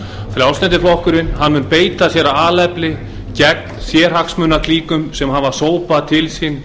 frjálslyndi flokkurinn mun beita sér af alefli gegn sérhagsmunaklíkum sem hafa sópað til sín